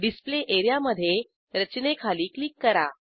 display एरियामधे रचनेखाली click करा